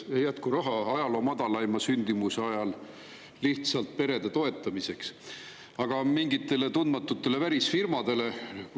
Raha ei jätku ajaloo madalaima sündimuse ajal lihtsalt perede toetamiseks, aga mingitele tundmatutele välisfirmadele.